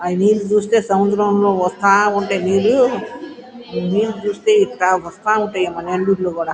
ఆ నీళ్ళు చూస్తుంటే సముద్రం లో వస్తా ఉంటయి నీళ్ళు నీళ్ళు చూస్తే వస్తా ఉంటాయి అక్కడ కూడా.